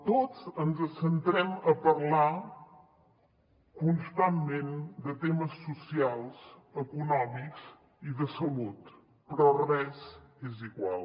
tots ens centrem a parlar constantment de temes socials econòmics i de salut però res és igual